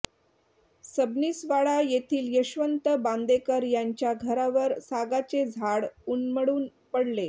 सबनीसवाडा येथील यशवंत बांदेकर यांच्या घरावर सागाचे झाड उन्मळून पडले